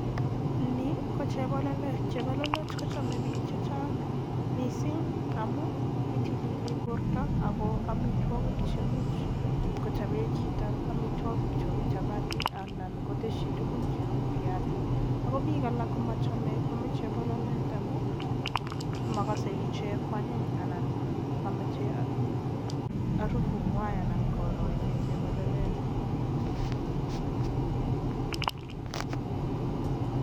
Ni ko chepololet, chepololet kocham biik chechang mising amun itilili borto ako amitwokik chemuch kochope chito amitwokik cheu chapati anan koteshi tugun cheu viasik, ako biik alak komachame kwaame chepololet amun makasei ichek ko anyiny anan mamache harufu ngwai anan koro ichek chepololet.